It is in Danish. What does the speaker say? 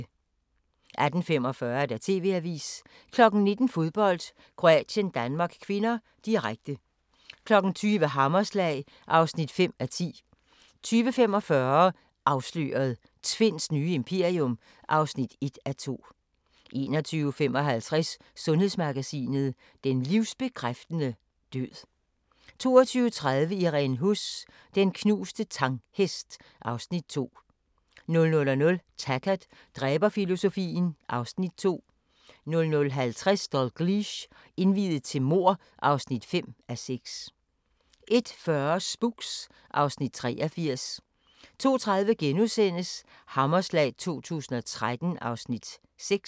18:45: TV-avisen 19:00: Fodbold: Kroatien-Danmark (k), direkte 20:00: Hammerslag (5:10) 20:45: Afsløret – Tvinds nye imperium (1:2) 21:55: Sundhedsmagasinet: Den livsbekræftende død 22:30: Irene Huss: Den knuste Tang-hest (Afs. 2) 00:00: Taggart: Dræberfilosofien (Afs. 2) 00:50: Dalgliesh: Indviet til mord (5:6) 01:40: Spooks (Afs. 83) 02:30: Hammerslag 2013 (6:11)*